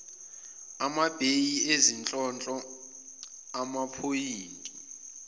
amabheyi izinhlonhlo amaphoyinti